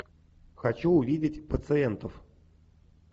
хочу увидеть пациентов